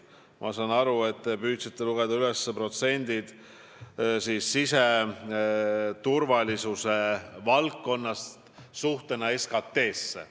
Ma saan aru, et te püüdsite lugeda üles protsente, mis näitavad kulutusi siseturvalisuse valdkonnale suhtena SKT-sse.